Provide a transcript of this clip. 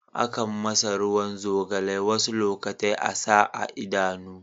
Akan masa ruwan zogalai wasu lokatai a'sa a Idanu.